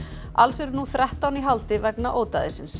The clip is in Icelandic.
alls er nú þrettán í haldi vegna